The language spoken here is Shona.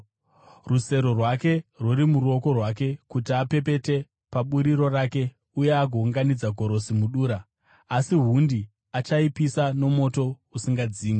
Rusero rwake rwuri muruoko rwake kuti apepete paburiro rake uye agounganidza gorosi mudura, asi hundi achaipisa nomoto usingadzimwi.”